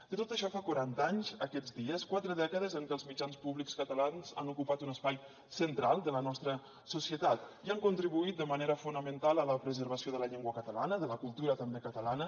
de tot això en fa quaranta anys aquests dies quatre dècades en què els mitjans públics catalans han ocupat un espai central de la nostra societat i han contribuït de manera fonamental a la preservació de la llengua catalana i de la cultura també catalana